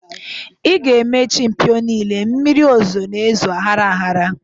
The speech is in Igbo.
Ị ga-emechi mpio niile. Mmiri ozuzo n'ezo ahara ahara.